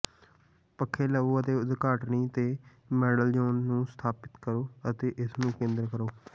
ਪੱਖੇ ਲਵੋ ਅਤੇ ਉਦਘਾਟਨੀ ਤੇ ਮੈਡਲਯੋਨ ਨੂੰ ਸਥਾਪਤ ਕਰੋ ਅਤੇ ਇਸਨੂੰ ਕੇਂਦਰ ਕਰੋ